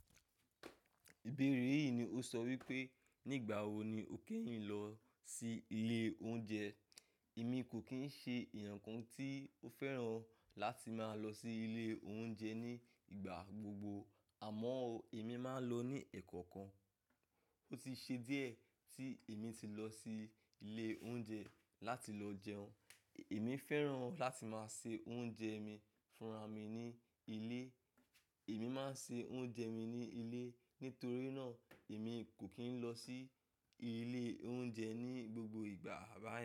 Ìbéèrè yìí ni ó sọ wípé nígbà wo ni o kẹ́yìn lọ sí ilé oúnjẹ. Èmi kò kì í ṣe èèyàn kan tí ó fẹ́ràn láti máa lọ sí ilé oúnjẹ ní ìgbà gbogbo, àmọ́ ò, èmi máa ń lọ ní ẹ́ẹ̀kọ̀kan. Ó ti ṣe díẹ̀ tí èmi ti lọ sí ilé oúnjẹ láti lọ jẹun. Èmi fẹ́ràn láti máa se oúnjẹ mi fúnra mi ní ilé. Èmi máa ń se oúnjẹ mi ní ilé. Nítorí náà, èmi kò kí ń lọ sí ilé oúnjẹ ní gbogbo ìgbà rara.